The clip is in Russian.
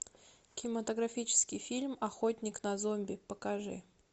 кинематографический фильм охотник на зомби покажи